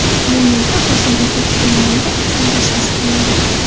Bu yerda Hosilbekka kutilmaganda oqqon tashxisi qo‘yildi.